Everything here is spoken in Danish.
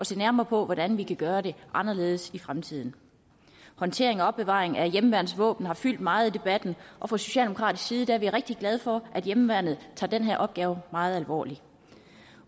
se nærmere på hvordan vi kan gøre det anderledes i fremtiden håndtering og opbevaring af hjemmeværnsvåben har fyldt meget i debatten og fra socialdemokratisk side er vi rigtig glade for at hjemmeværnet tager den her opgave meget alvorligt